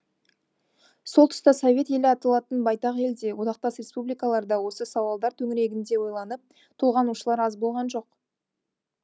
сол тұста совет елі аталатын байтақ елде одақтас республикалар да осы сауалдар төңірегінде ойланып толғанушылар аз болған жоқ